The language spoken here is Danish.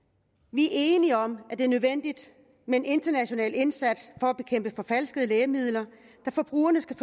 vi er enige om at det er nødvendigt med en international indsats for at bekæmpe forfalskede lægemidler da forbrugerne skal